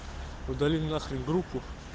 удали нахрен группу